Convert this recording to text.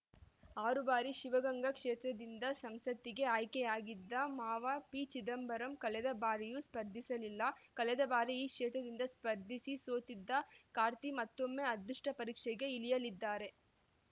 ಆರು ಬಾರಿ ಶಿವಗಂಗಾ ಕ್ಷೇತ್ರದಿಂದ ಸಂಸತ್ತಿಗೆ ಆಯ್ಕೆಯಾಗಿದ್ದ ಮಾವ ಪಿ ಚಿದಂಬರಂ ಕಳೆದ ಬಾರಿಯೂ ಸ್ಪರ್ಧಿಸಲಿಲ್ಲ ಕಳೆದ ಬಾರಿ ಈ ಕ್ಷೇತ್ರದಿಂದ ಸ್ಪರ್ಧಿಸಿ ಸೋತಿದ್ದ ಕಾರ್ತಿ ಮತ್ತೊಮ್ಮೆ ಅದೃಷ್ಟಪರೀಕ್ಷೆಗೆ ಇಳಿಯಲಿದ್ದಾರೆ